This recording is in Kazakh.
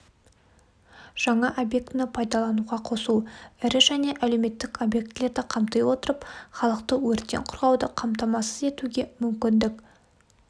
жаңа объектіні пайдалануға қосу ірі және әлеуметтік объектілерді қамти отырып халықты өрттен қорғауды қамтамасыз етуге мүмкіндік